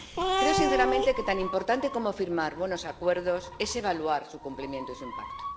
Creo sinceramente que tan importante como firmar buenos acuerdos es evaluar su cumplimiento y su impacto.